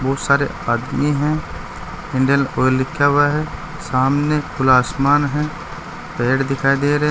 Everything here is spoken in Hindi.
बहुत सारे आदमी हैं इंडियन ऑयल लिखा हुआ है सामने खुला आसमान है पेड़ दिखाई दे रहे--